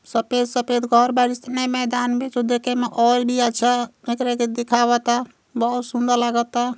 सपेद -सपेद घर बानी सन ऐ मैदान में जो देखे मे और भी आछा एकरा के देखावता। बहुत सुंदर लागता।